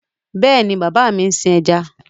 Yes, my father riases fishes